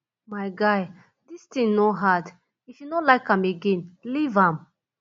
my guy dis thing no hard if you no like am again leave am